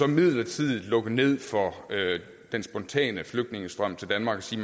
midlertidigt lukke ned for den spontane flygtningestrøm til danmark og sige